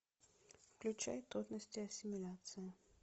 включай трудности ассимиляции